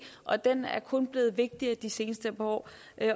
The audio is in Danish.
og den er kun blevet vigtigere i de seneste par år